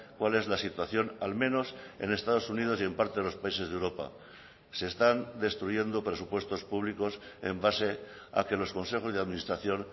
cual es la situación al menos en estados unidos y en parte de los países de europa se están destruyendo presupuestos públicos en base a que los consejos de administración